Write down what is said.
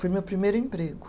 Foi meu primeiro emprego.